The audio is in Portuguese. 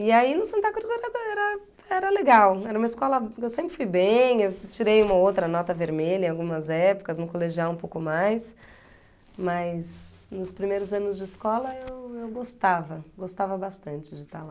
E aí no Santa Cruz era era era legal, era uma escola, eu sempre fui bem, eu tirei uma ou outra nota vermelha em algumas épocas, no colegial um pouco mais, mas nos primeiros anos de escola eu gostava, gostava bastante de estar lá.